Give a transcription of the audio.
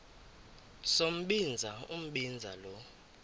sombinza umbinza lo